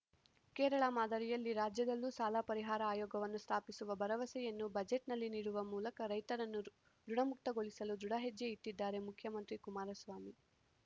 ಕೇರಳ ಮಾದರಿಯಲ್ಲಿ ರಾಜ್ಯದಲ್ಲೂ ಸಾಲ ಪರಿಹಾರ ಆಯೋಗವನ್ನು ಸ್ಥಾಪಿಸುವ ಭರವಸೆಯನ್ನು ಬಜೆಟ್‌ನಲ್ಲಿ ನೀಡುವ ಮೂಲಕ ರೈತರನ್ನು ಋ ಋಣಮುಕ್ತಗೊಳಿಸಲು ದೃಢಹೆಜ್ಜೆ ಇಟ್ಟಿದ್ದಾರೆ ಮುಖ್ಯಮಂತ್ರಿ ಕುಮಾರಸ್ವಾಮಿ